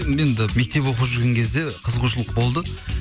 м енді мектеп оқып жүрген кезде қызығушылық болды